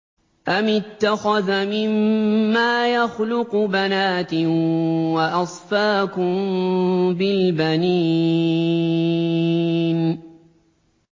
أَمِ اتَّخَذَ مِمَّا يَخْلُقُ بَنَاتٍ وَأَصْفَاكُم بِالْبَنِينَ